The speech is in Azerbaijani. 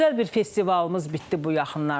Gözəl bir festivalımız bitdi bu yaxınlarda.